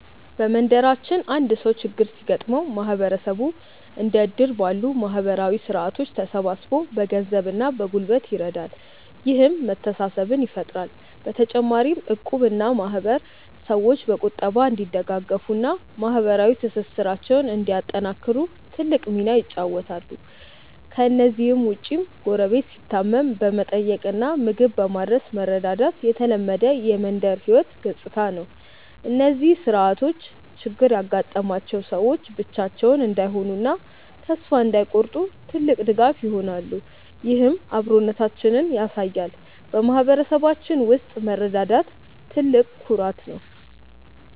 በመንደራችን አንድ ሰው ችግር ሲገጥመው ማህበረሰቡ እንደ እድር ባሉ ማህበራዊ ስርዓቶች ተሰባስቦ በገንዘብና በጉልበት ይረዳል፤ ይህም መተሳሰብን ይፈጥራል። በተጨማሪም እቁብና ማህበር ሰዎች በቁጠባ እንዲደጋገፉና ማህበራዊ ትስስራቸውን እንዲያጠናክሩ ትልቅ ሚና ይጫወታሉ። ከእነዚህ ውጭም ጎረቤት ሲታመም በመጠየቅና ምግብ በማድረስ መረዳዳት የተለመደ የመንደር ህይወት ገጽታ ነው። እነዚህ ስርዓቶች ችግር ያጋጠማቸው ሰዎች ብቻቸውን እንዳይሆኑና ተስፋ እንዳይቆርጡ ትልቅ ድጋፍ ይሆናሉ፤ ይህም አብሮነታችንን ያሳያል። በማህበረሰባችን ውስጥ መረዳዳት ትልቅ ኩራት ነው።